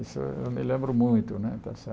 Isso eu me lembro muito, está certo?